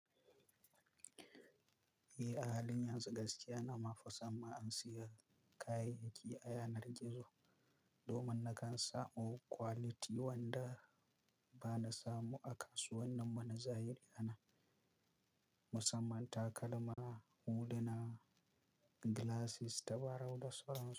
Eh, a halin yanzu gaskiya na mafi son ma in siya kayayyaki a yanar gizo, domin na kan samu quality wanda ba na samu a kasuwannin wanzai da yana. Musamman takalma, huluna, glasses, tabarau da sauran su.